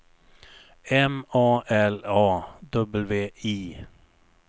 M A L A W I